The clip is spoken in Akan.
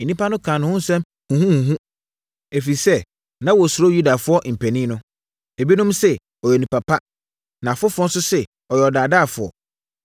Nnipa no kaa ne ho nsɛm huhuhuhu ɛfiri sɛ, na wɔsuro Yudafoɔ mpanin no. Ebinom se, “Ɔyɛ onipa pa.” Na afoforɔ nso se, “Ɔyɛ ɔdaadaafoɔ.”